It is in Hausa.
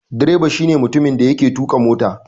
Direba shi ne mutumin da yake tuƙa mota.